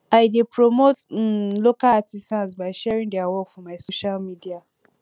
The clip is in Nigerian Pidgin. i dey promote um local artisans by sharing their work for my social media